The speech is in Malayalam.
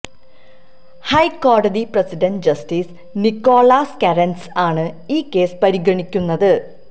ഹൈക്കോടതി പ്രസിഡന്റ് ജസ്റ്റിസ് നിക്കോളാസ് കെറൻസ് ആണ് ഈ കേസ് പരിഗണിക്കുന്നത്